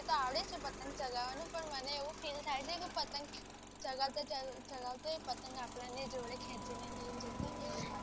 આવડે છે. પતંગ ચગાવવા નું પણ મને એવું ફિલ થાય છે. કે પતંગ ચગાવતા ચગાવતા આપણા ને જોડે ખેંચી લેશે એટલે દર લાગે છે